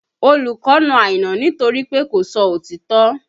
Olùkọ́ na Àìná nítorí pé kò sọ òtítọ́